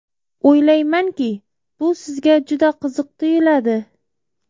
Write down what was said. O‘ylaymanki, bu sizga juda qiziq tuyuladi.